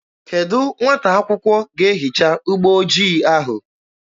Kedụ nwata akwụkwọ ga-ehicha ụgbọ ojii ahụ?